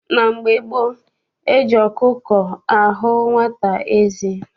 Na mgbe gboo, eji ọkụkọ ahụ nwata eze.